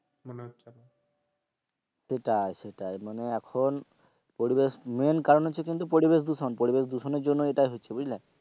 সেটাই সেটাই মানে এখন পরিবেশ main কারণ হচ্ছে পরিবেশ দূষণ পরিবেশদূষণের কারণে এরকম হচ্ছে বুঝলে,